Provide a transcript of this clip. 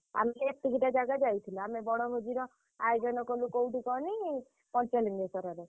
ଆମେ ଏତିକିଟା ଜାଗା ଯାଇଥିଲୁ। ଆମେ ବଣଭୋଜିର ଆୟୋଜନ କଲୁ କୋଉଠି କହନି ପଞ୍ଚଲିଙ୍ଗେଶ୍ଵରରେ।